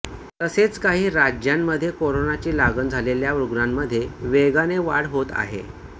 तसेच काही राज्यांमध्ये कोरोनाची लागण झालेल्या रुग्णांमध्ये वेगाने वाढ होत आहे